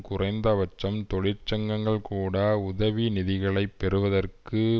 குறைந்த பட்சம் தொழிற்சங்கங்கள் கூட உதவி நிதிகளை பெறுவதற்கு